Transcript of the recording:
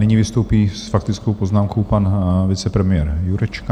Nyní vystoupí s faktickou poznámkou pan vicepremiér Jurečka.